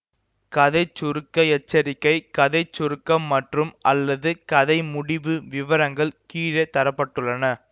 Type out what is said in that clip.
கதை சுருக்க எச்சரிக்கை கதை சுருக்கம் மற்றும்அல்லது கதை முடிவு விவரங்கள் கீழே தர பட்டுள்ளன